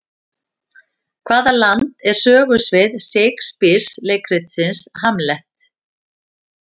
Hvaða land er sögusvið Shakespeare leikritsins Hamlet?